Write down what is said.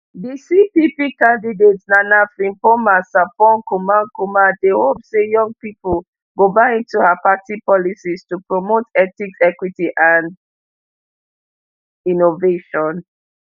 di cpp candidate nana frimpomaa sarpong kumankumah dey hope say young pipo go buy into her party policies to promote ethics equity and innovation